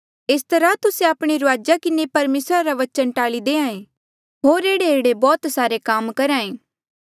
एस तरहा तुस्से आपणे रूआजा किन्हें परमेसरा रा वचन टाल्ली देहां ऐें होर ऐहड़ेऐहड़े बौह्त सारे काम करहा ऐें